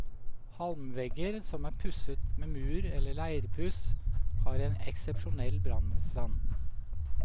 Halmvegger som er pusset med mur eller leirpuss, har en eksepsjonell brannmotstand.